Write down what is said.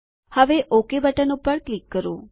હવે okay button પર click કરો